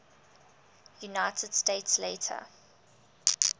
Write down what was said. united states later